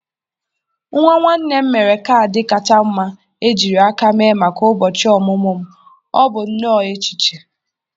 Nwa nwanne m mere kaadị kacha mma ejiri aka mee maka ụbọchị ọmụmụ m. Ọ bụ nnọọ echiche.